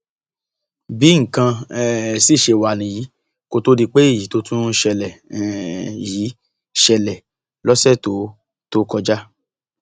bí nǹkan um sì ṣe wá nìyí kó tóó di pé èyí tó tún ṣẹlẹ um yìí ṣẹlẹ lọsẹ tó tó kọjá